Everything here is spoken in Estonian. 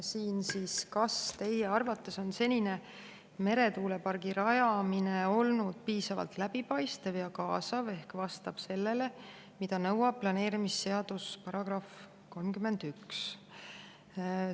Küsimus: kas teie arvates on senine meretuulepargi rajamine olnud piisavalt läbipaistev ja kaasav ehk vastab sellele, mida nõuab planeerimisseaduse § 31?